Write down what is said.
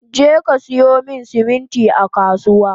Jeka siyo siminti a kasuwa!